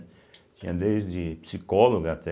Tinha desde psicóloga até